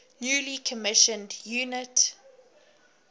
newly commissioned united